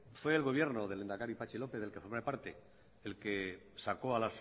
fue el gobierno del lehendakari patxi lópez del que formé parte el que sacó a